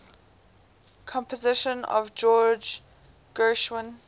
compositions by george gershwin